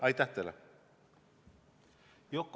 Aitäh teile!